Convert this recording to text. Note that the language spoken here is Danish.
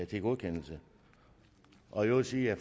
til godkendelse og i øvrigt sige at